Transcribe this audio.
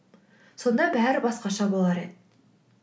сонда бәрі басқаша болар еді